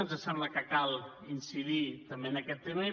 ens sembla que cal incidir també en aquest tema